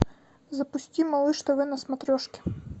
запусти малыш тв на смотрешке